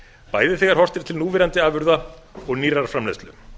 bæði þegar horft er til núverandi afurða og nýrrar framleiðslu